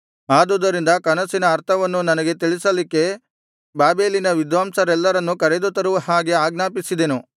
ಆದುದರಿಂದ ಕನಸಿನ ಅರ್ಥವನ್ನು ನನಗೆ ತಿಳಿಸಲಿಕ್ಕೆ ಬಾಬೆಲಿನ ವಿದ್ವಾಂಸರೆಲ್ಲರನ್ನೂ ಕರೆದುತರುವ ಹಾಗೆ ಆಜ್ಞಾಪಿಸಿದೆನು